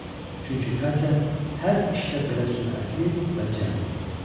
Çünki Katya hər işdə belə sürətli və cəld idi.